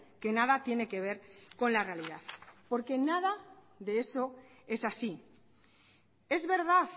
que nada tiene que ver con la realidad porque nada de eso es así es verdad